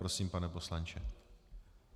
Prosím, pane poslanče.